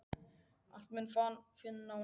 Allt má nú finna á netinu!